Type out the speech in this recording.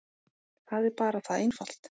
Það er bara það einfalt.